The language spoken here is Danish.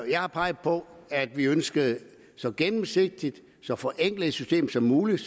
jeg har peget på at vi ønskede så gennemsigtigt og så forenklet et system som muligt